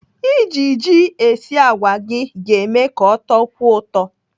Iji ji esi àgwà gị ga-eme ka ọ tọkwuo ụtọ.